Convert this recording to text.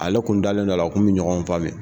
Ale kun dalen don a la u kun bi ɲɔgɔn